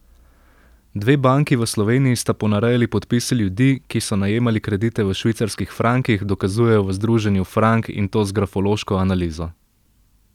Dve banki v Sloveniji sta ponarejali podpise ljudi, ki so najemali kredite v švicarskih frankih, dokazujejo v združenju Frank in to z grafološko analizo.